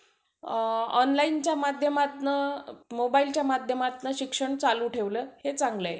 online च्या माध्यमातनं mobile च्या माध्यमातनं शिक्षण चालू ठेवलं हे चांगलं आहे.